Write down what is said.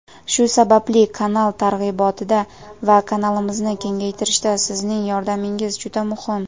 Shu sababli kanal targ‘ibotida va kanalimizni kengaytirishda sizning yordamingiz juda muhim.